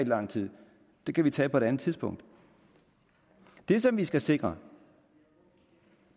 lang tid den kan vi tage på et andet tidspunkt det som vi skal sikre